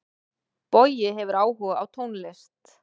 Bogi hefur áhuga á tónlist.